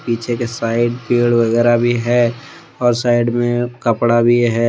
पीछे के साइड पेड़ वगैरा भी है और साइड में कपड़ा भी है।